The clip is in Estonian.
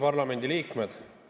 Parlamendiliikmed!